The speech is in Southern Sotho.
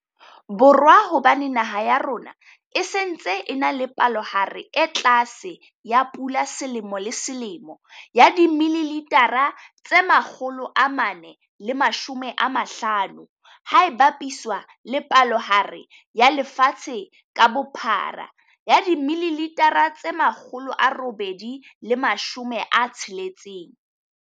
Borwa hobane naha ya rona e se ntse e na le palohare e tlase ya pula selemo le selemo ya dimililitha, tse 450, ha e bapiswa le palohare ya lefatshe ka bophara 860ml.